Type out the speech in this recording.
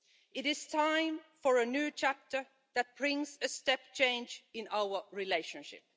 It is time for a new chapter that brings a step change in our relationship.